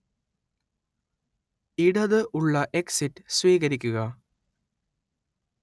ഇടത് ഉള്ള എക്സിറ്റ് സ്വീകരിക്കുക